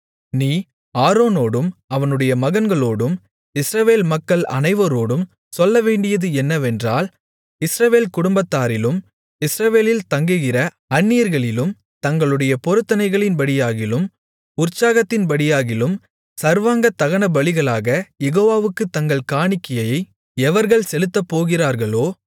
நீ ஆரோனோடும் அவனுடைய மகன்களோடும் இஸ்ரவேல் மக்கள் அனைவரோடும் சொல்லவேண்டியது என்னவென்றால் இஸ்ரவேல் குடும்பத்தாரிலும் இஸ்ரவேலில் தங்குகிற அந்நியர்களிலும் தங்களுடைய பொருத்தனைகளின்படியாகிலும் உற்சாகத்தின்படியாகிலும் சர்வாங்க தகனபலிகளாகக் யெகோவாவுக்குத் தங்கள் காணிக்கையை எவர்கள் செலுத்தப்போகிறார்களோ